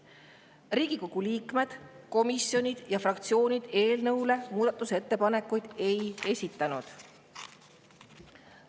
Riigikogu liikmed, komisjonid ja fraktsioonid eelnõu kohta muudatusettepanekuid ei esitanud.